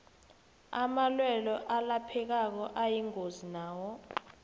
amalwelwe alaphekako ayingozi nawo